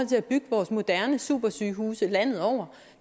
til at bygge vores moderne supersygehuse landet over